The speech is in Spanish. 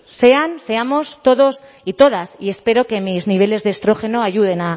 sean seamos todos y todas y espero que mis niveles de estrógeno ayuden